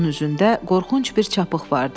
Onun üzündə qorxunc bir çapıq vardı.